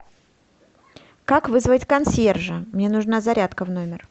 как вызвать консьержа мне нужна зарядка в номер